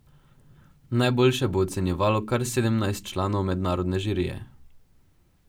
Najboljše bo ocenjevalo kar sedemnajst članov mednarodne žirije!